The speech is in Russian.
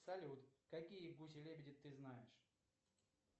салют какие гуси лебеди ты знаешь